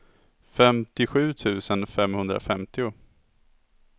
femtiosju tusen femhundrafemtio